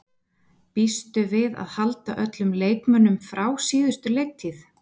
Býstu við að halda öllum leikmönnum frá síðustu leiktíð?